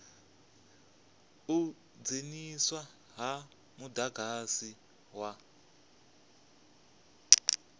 u dzheniswa ha mudagasi wa